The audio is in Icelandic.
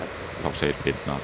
þá segir Birna